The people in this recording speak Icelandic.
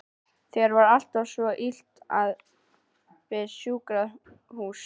Þér var alltaf svo illa við sjúkrahús.